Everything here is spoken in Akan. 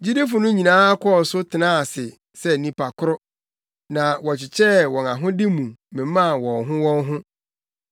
Gyidifo no nyinaa kɔɔ so tenaa ase sɛ nnipa koro, na wɔkyekyɛɛ wɔn ahode mu memaa wɔn ho wɔn ho.